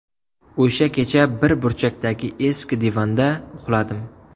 O‘sha kecha bir burchakdagi eski divanda uxladim.